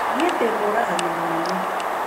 Niĩ ndĩmũragani mũnene.